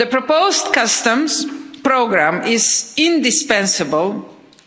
The proposed customs programme is indispensable